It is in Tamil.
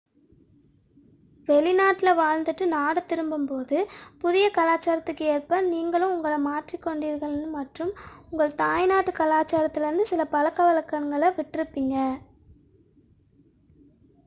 வெளிநாட்டில் வாழ்ந்து விட்டு நாடு திரும்பும் போது புதிய கலாச்சாரத்திற்கு ஏற்ப நீங்கள் உங்களை மாற்றிக் கொண்டிருக்கிறீர்கள் மற்றும் உங்கள் தாய்நாட்டு கலாச்சாரத்திலிருந்து சில பழக்கவழக்கங்களை விட்டிருப்பீர்கள்